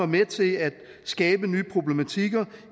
med til at skabe nye problematikker